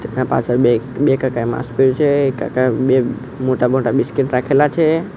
તેના પાછળ બે બે કાકાએ માસ્ક પહેર્યું છે એક કાકા બે મોટા મોટા બિસ્કિટ રાખેલા છે.